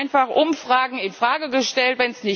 Da werden einfach Umfragen in Frage gestellt.